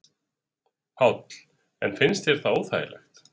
Páll: En finnst þér það óþægilegt?